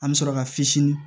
An bɛ sɔrɔ ka fitinin